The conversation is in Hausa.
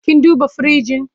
Kin duba firinji?